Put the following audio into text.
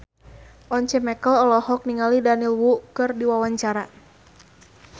Once Mekel olohok ningali Daniel Wu keur diwawancara